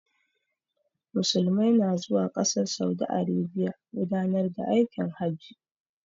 Musulmai su na zuwa ƙasar saudi arabiya gudanar da aikin hajji